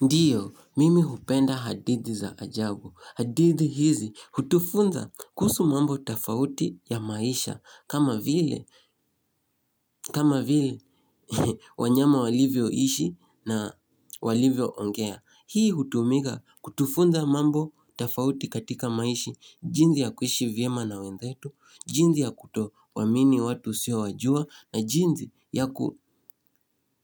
Ndiyo, mimi hupenda hadithi za ajagu. Hadithi hizi, hutufunza kuhusu mambo tofauti ya maisha, kama vile, kama vile, wanyama walivyoishi na walivyoongea. Hii hutumika kutufunza mambo tofauti katika maisha, jinsi ya kuishi vyema na wenzhletu, jinsi ya kutowaamini watu usiowajua na jinsi ya